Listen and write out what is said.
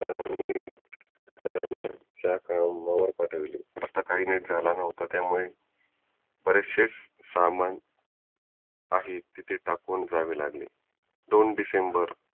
च्या पाठविले सकाळ नीट झाला न्हवता त्यामुळे बरेचशे समान आहे तिथे टाकून जावे लागले दोन डिसेंबर